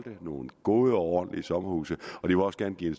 nogle gode og ordentlige sommerhuse og de vil også gerne give en